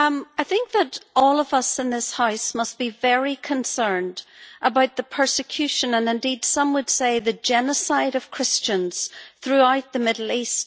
I think that all of us in this House must be very concerned about the persecution and, indeed, some would say the genocide of Christians, throughout the Middle East.